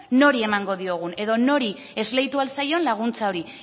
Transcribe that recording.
nori emango diogun edo nori esleitu ahal zaion laguntza hori